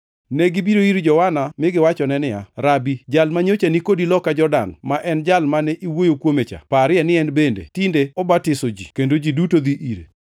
Negibiro ir Johana mi giwachone niya, “Rabi, jal manyocha ni kodi loka Jordan, ma en Jal mane iwuoyo kuome cha, parie ni en bende tinde obatiso ji, kendo ji duto dhi ire.”